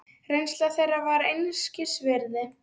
Reynsla þeirra væri einskis virði.